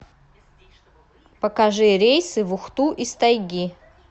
покажи рейсы в ухту из тайги